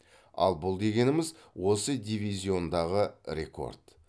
ал бұл дегеніміз осы дивизиондағы рекорд